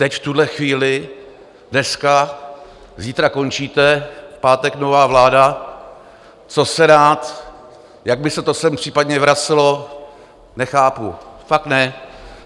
Teď v tuhle chvíli, dneska - zítra končíte, v pátek nová vláda - co se dá, jak by se to sem případně vracelo, nechápu, fakt ne.